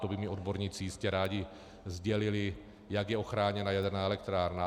To by mi odborníci jistě rádi sdělili, jak je ochráněna jaderná elektrárna.